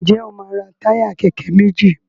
Njé o ma ra Táyà kéké méjì